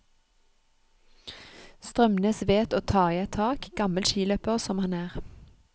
Strømnes vet å ta i et tak, gammel skiløper som han er.